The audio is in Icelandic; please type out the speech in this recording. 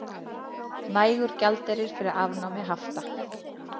Nægur gjaldeyrir fyrir afnámi hafta